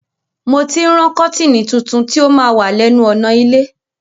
Mo ti ń rán kọ́tìnì tuntun ti ó ma wà lẹ́nu ọ̀nà ilé